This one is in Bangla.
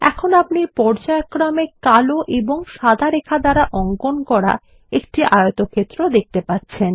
এখন আপনি পর্যায়ক্রমে কালো এবং সাদা রেখা দ্বারা অঙ্কন করা একটি আয়তক্ষেত্র দেখতে পাচ্ছেন